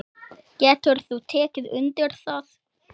Getur þú tekið undir það?